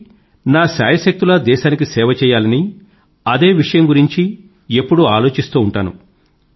కాబట్టి నా శాయశక్తులా దేశానికి సేవ చెయ్యాలని అదే విషయం గురించి ఎప్పుడూ ఆలోచిస్తూ ఉంటాను